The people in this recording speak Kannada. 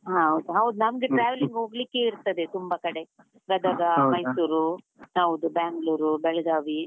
ಹಾ ಹೌದು, ನಮ್ಗೆ traveling ಹೋಗ್ಲಿಕ್ಕೇ ಇರ್ತದೆ ತುಂಬಾ ಕಡೆ ಗದಗ, ಮೈಸೂರು, ಹೌದು Bangalore , ಬೆಳಗಾವಿ.